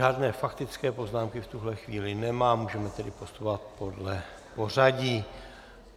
Žádné faktické poznámky v tuhle chvíli nemám, můžeme tedy postupovat podle pořadí.